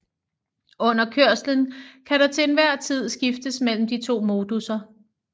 Under kørslen kan der til enhver tid skiftes mellem de to modusser